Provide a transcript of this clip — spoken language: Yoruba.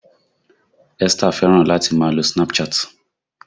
Esther fẹ́ràn láti máa lo Snapchat